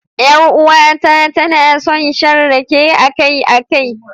Yar uwata tana son shan rake akai-akai.